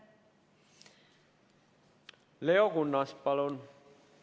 Leo Kunnas, palun!